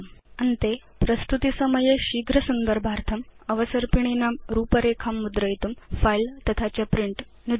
अन्ते प्रस्तुतिसमये शीघ्र संदर्भार्थं अवसर्पिणीनां रूपरेखां मुद्रयितुं फिले तथा च प्रिंट नुदतु